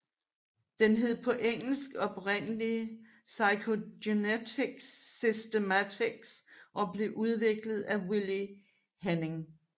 Den hed på engelsk oprindelig phylogenetic systematics og blev udviklet af Willi Hennig